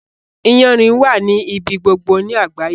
Iyanrìn wà ní ibi gbogbo ni àgbáyé.